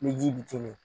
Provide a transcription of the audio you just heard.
Ni ji bi te min